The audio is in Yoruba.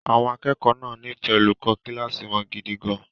Àwọn akẹ́kọ̀ọ́ náà nífẹ̀ẹ́ olùkọ́ kíláàsì wọn gidi gan-an.